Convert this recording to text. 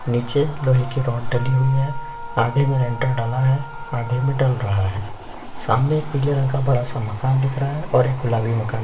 निचे लोहे का रोड डाली हुई है आधे में लेंटर डला है आधे में डल रहा है सामने पिले रंग का बड़ा सा माकन दिख रहा है और गुलाबी मकान।